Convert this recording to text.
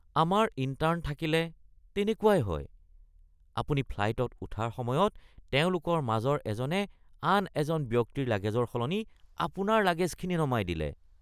আমাৰ ইণ্টাৰ্ণ থাকিলে তেনেকুৱাই হয়। আপুনি ফ্লাইটত উঠাৰ সময়ত তেওঁলোকৰ মাজৰ এজনে আন এজন ব্যক্তিৰ লাগেজৰ সলনি আপোনাৰ লাগেজখিনি নমাই দিলে